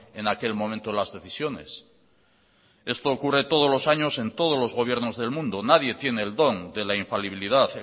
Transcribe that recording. en aquel momento las decisiones esto ocurre todos los años en todos los gobiernos del mundo nadie tiene el don de la infalibilidad